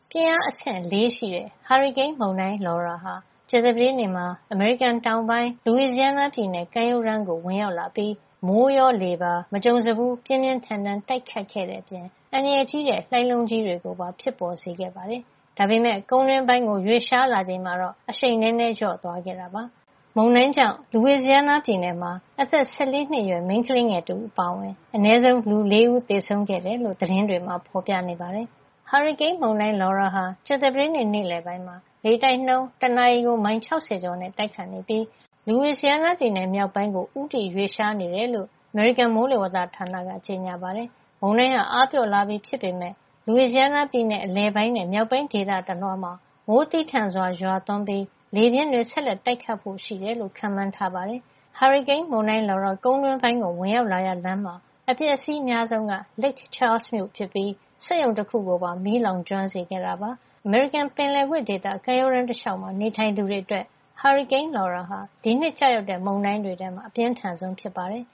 ပြင်းအားအဆင့် ၄ ရှိတဲ့ ဟာရီကိန်းမုန်တိုင်း Laura ဟာ ကြာသပတေးနေ့မှာ အမေရိကန်တောင်ပိုင်း Louisiana ပြည်နယ် ကမ်းရိုးတန်းကို ဝင်ရောက်လာပြီး မိုးရော လေပါ မကြုံစဖူး ပြင်းပြင်းထန်ထန် တိုက်ခတ်ခဲ့တဲ့အပြင် အန္တရာယ်ကြီးတဲ့ လှိုင်းလုံးကြီးတွေ ကိုပါ ဖြစ်ပေါ်စေခဲ့တာပါ။ ဒါပေမယ့် ကုန်းတွင်းပိုင်းကို ရွေ့လျားလာချိန်မှာတော့ အရှိန်နည်းနည်း လျော့သွားခဲ့ပါတယ်။ မုန်တိုင်းကြောင့် Louisiana ပြည်နယ်မှာ အသက် ၁၄ နှစ်အရွယ် မိန်းကလေးငယ် တဦးအပါအဝင် အနည်းဆုံး လူ ၄ ဦး သေဆုံးခဲ့တယ်လို့ သတင်းတွေမှာ ဖေါ်ပြနေပါတယ်။ ဟာရီကိန်းမုန်တိုင်း Laura ဟာ ကြာသပတေးနေ့ နေ့လည်ပိုင်းမှာ လေတိုက်နှုန်း တနာရီကို မိုင် ၆၀ ကျော်နဲ့ တိုက်ခတ်နေပြီး Louisiana ပြည်နယ် မြောက်ပိုင်းက Shreveport မြို့ အရှေ့ မြောက် ဘက်ကို ဦးတည် ရွေ့လျားနေတယ်လို့ အမေရိကန် မိုးလေဝသဌာန NWS က ကြေညာပါတယ်။ မုန်တိုင်းဟာ အားပျော့လာပြီ ဖြစ်ပေမယ့် Louisiana ပြည်နယ် အလယ်ပိုင်းနဲ့ မြောက်ပိုင်း ဒေသ တလွှားမှာ မိုးသည်းထန်စွာရွာသွန်းပြီး လေပြင်း တွေ ဆက်လက်တိုက်ခတ်ဖို့ ရှိတယ်လို့ ခန့်မှန်းထားပါတယ်။ နောက်ပိုင်းမှာ မြောက်ဘက် Arkansas ပြည်နယ် ထဲကို ဆက်လက်ရွေ့လျား သွားမှာ ဖြစ်ပါတယ်။ ဟာရီကိန်းမုန်တိုင်း Laura ကုန်းတွင်းပိုင်းကို ဝင်ရောက်လာရာလမ်းမှာ အပျက်အစီး အများဆုံးက Lake Charles မြို့ဖြစ်ပြီး စက်ရုံတခုကိုပါ မီးလောင်ကျွမ်းစေခဲ့တာပါ။ အမေရိကန်ပင်လယ်ကွေ့ ဒေသ ကမ်းရိုးတန်းတလေ ျှာက်မှာ နေထိုင်သူတွေ အတွက် ဟာရီကိန်း Laura ဟာ ဒီနှစ်ကျရောက်တဲ့ မုန်တိုင်းတွေထဲမှာ အပြင်းထန်ဆုံး ဖြစ်ပါတယ်